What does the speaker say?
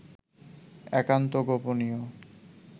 একান্ত গোপনীয়